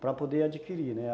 Para poder adquirir, né?